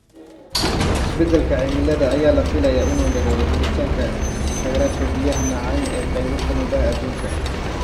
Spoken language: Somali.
Isbeddelka cimilada ayaa la filayaa inuu yareeyo helitaanka kheyraadka biyaha macaan ee qaybo ka mid ah adduunka.